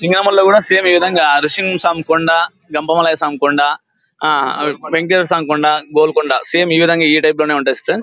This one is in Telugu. సింగంలో కూడా సమె ఇదే విధంగా సం కొండా గొండవలె సామ్ కొండా వెంకటేశ్వరా సం కొండా గోల్కొండ సేమ్ ఇదే విధంగా ఉంటుంది సిస్టర్స్